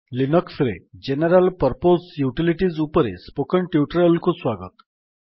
Linux ରେ general purpose utilities ଉପରେ spoken tutorial କୁ ସ୍ୱାଗତ